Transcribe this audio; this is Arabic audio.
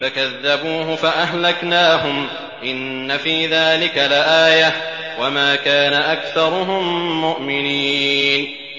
فَكَذَّبُوهُ فَأَهْلَكْنَاهُمْ ۗ إِنَّ فِي ذَٰلِكَ لَآيَةً ۖ وَمَا كَانَ أَكْثَرُهُم مُّؤْمِنِينَ